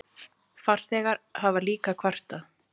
Farþegar hafa líka kvartað.